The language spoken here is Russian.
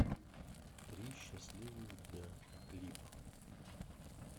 три счастливых дня клип